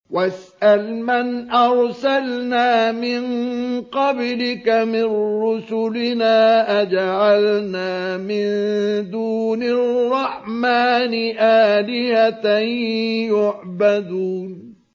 وَاسْأَلْ مَنْ أَرْسَلْنَا مِن قَبْلِكَ مِن رُّسُلِنَا أَجَعَلْنَا مِن دُونِ الرَّحْمَٰنِ آلِهَةً يُعْبَدُونَ